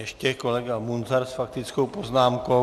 Ještě kolega Munzar s faktickou poznámkou.